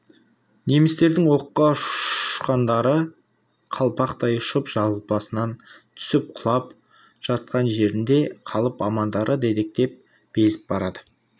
немістердің оққа ұшқандары қалпақтай ұшып жалпасынан түсіп сұлап жатқан жерінде қалып амандары дедектеп безіп барады